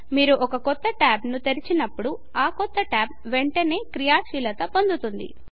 మీరు ఒక క్రొత్త ట్యాబ్ ను తెరచినప్పుడు ఆ కొత్త ట్యాబ్ వెంటనే క్రియాశీలత పొందుతుంది